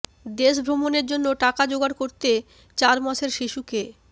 দেশ ভ্রমণের জন্য টাকা জোগাড় করতে চার মাসের শিশুকে